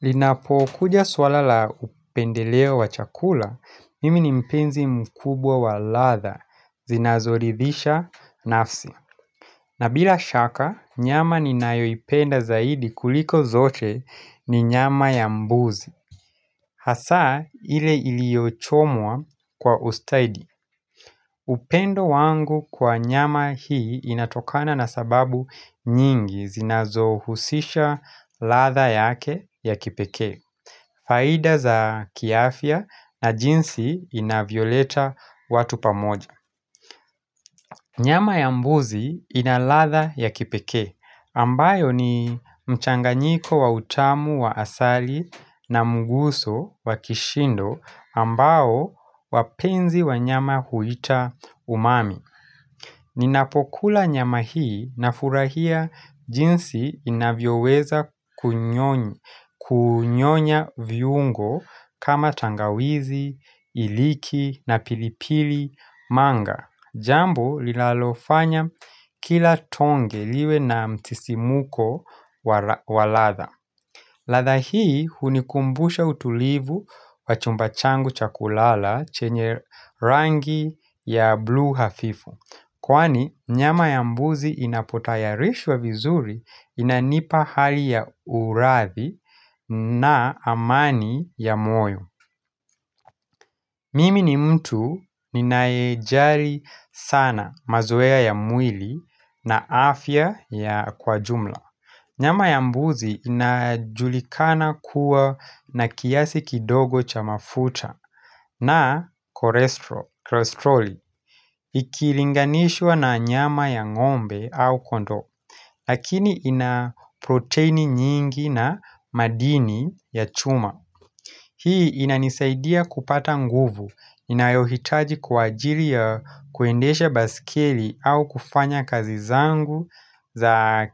Linapokuja swala la upendeleo wa chakula, mimi ni mpenzi mkubwa wa ladha zinazoridhisha nafsi. Na bila shaka, nyama ninayoipenda zaidi kuliko zote ni nyama ya mbuzi. Hasaa ile iliochomwa kwa ustaidi. Upendo wangu kwa nyama hii inatokana na sababu nyingi zinazohusisha latha yake ya kipeke. Faida za kiafya na jinsi inavyoleta watu pamoja Nyama ya mbuzi inaladha ya kipekee ambayo ni mchanganyiko wa utamu wa asali na mguso wa kishindo ambao wapenzi wa nyama huita umami Ninapokula nyama hii nafurahia jinsi inavyoweza kunyoni Kunyonya viungo kama tangawizi, iliki na pilipili manga Jambo lilalofanya kila tonge liwe na msisimuko wa ladha ladha hii hunikumbusha utulivu wa chumba changu cha kulala chenye rangi ya blue hafifu Kwani nyama ya mbuzi inapotayarishwa vizuri inanipa hali ya uradhi na amani ya moyo. Mimi ni mtu ninayejali sana mazoea ya mwili na afya ya kwa jumla. Nyama ya mbuzi inajulikana kuwa na kiasi kidogo cha mafuta na korestroli. Ikilinganishwa na nyama ya ng'ombe au kondoo, lakini ina proteini nyingi na madini ya chuma. Hii inanisaidia kupata nguvu ninayohitaji kwa ajili ya kuendesha baiskeli au kufanya kazi zangu za